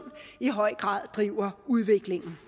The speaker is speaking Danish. i høj grad driver udviklingen